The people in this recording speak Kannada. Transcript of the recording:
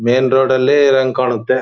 ಮೇನ್ ರೋಡ್ ಅಲ್ಲಿ ನಂಗೆ ಕಾಣುತ್ತೆ